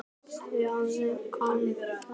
Þau höfðu kafnað.